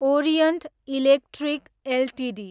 orient Electric Ltd